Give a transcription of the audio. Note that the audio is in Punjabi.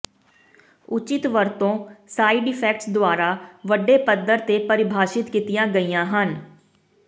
ਉਚਿਤ ਵਰਤੋਂ ਸਾਈਡ ਇਫੈਕਟਸ ਦੁਆਰਾ ਵੱਡੇ ਪੱਧਰ ਤੇ ਪਰਿਭਾਸ਼ਿਤ ਕੀਤੀਆਂ ਗਈਆਂ ਹਨ